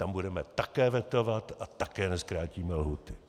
Tam budeme také vetovat a také nezkrátíme lhůty.